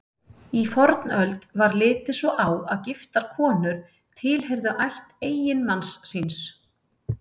Í fornöld var litið svo á að giftar konur tilheyrðu ætt eiginmanns síns.